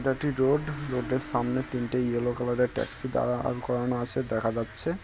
এটা একটি road road -এর সামনে তিনটে ইয়েলো কালার -এর ট্যাক্সি দ্বারা আর করানো আছে দেখা যাচ্ছে।